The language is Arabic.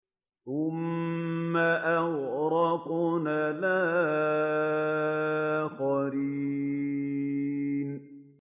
ثُمَّ أَغْرَقْنَا الْآخَرِينَ